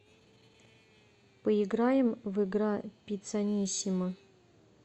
поиграем в игра пиццанисимо